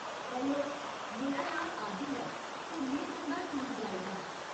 Hello, मेरा नांऽ आदिल ऐ, ते में तुं'दा टूर गाइड आं।